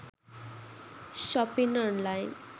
shopping online